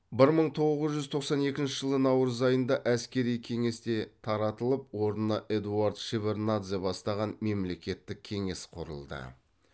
бір мың тоғыз жүз тоқсан екінші жылы наурыз айында әскери кеңес те таратылып орнына эдуард шеварднадзе бастаған мемлекет кеңес құрылды